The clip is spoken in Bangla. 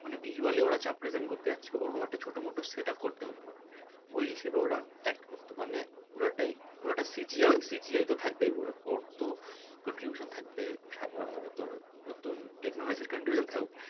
মানে visually ওরা যা present করতে যাচ্ছে ওরকম একটা ছোটো মোটো set up করতে হবে ওই হিসেবে ওরা act করত মানে পুরোটাই CGI তো থাকবেই ওর তো contribution থাকবে তোর নতুন technology র contribution থাকবেই